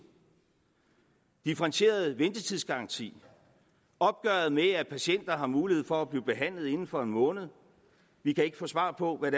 differentieret ventetidsgaranti opgøret med at patienter har mulighed for at blive behandlet inden for en måned vi kan ikke få svar på hvad